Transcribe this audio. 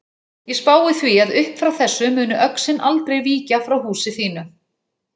Ég spái því að uppfrá þessu muni öxin aldrei víkja frá húsi þínu.